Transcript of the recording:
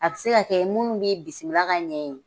A bi se ka kɛ minnu mi bisimila ka ɲɛ yen